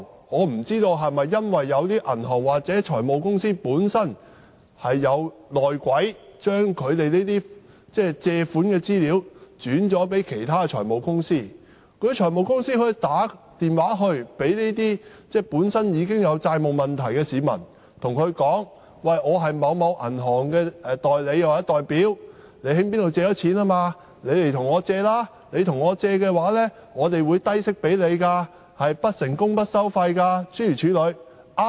我不知道是否因為有些銀行或財務公司有"內鬼"，很多時候客戶的借貸資料會被轉介至其他財務公司，而那些財務公司會致電這些本身已經有債務問題的市民，告訴他們："我是某銀行的代理或代表，我知你向某機構借貸，你不如向我借貸，我可以提供低息貸款給你，是不成功不收費的。